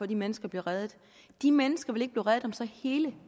de mennesker bliver reddet de mennesker vil ikke blive reddet om så hele